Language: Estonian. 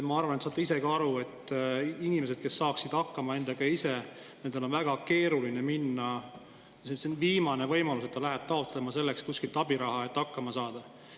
Ma arvan, te saate ise ka aru, et inimestel, kes saaksid muidu ise endaga hakkama, on väga keeruline minna – ma ütleksin, et see on viimane võimalus – taotlema kuskilt abiraha, et hakkama saada.